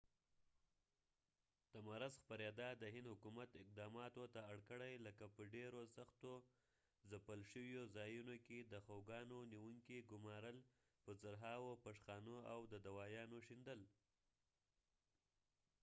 د مرض خپریدا د هند حکومت اقداماتو ته اړ کړی لکه په ډیرو سختو ځپل شویو ځایونو کې د خوګانو نیونکي ګمارل په زرهاوو پشخانو او د دوایانو شیندل